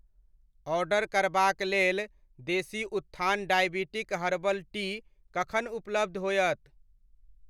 Order करबाक लेल Desi Utthan diabetic herbal tea कखन उपलब्ध होयत ?